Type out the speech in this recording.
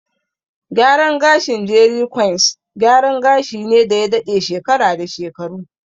Gyaran gashin "jeri kwains", gyaran gashi ne da ya daɗe shekara da shekaru.